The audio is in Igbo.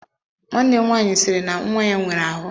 Nwanne m nwaanyị sịrị na nwa ya nwere ahụ.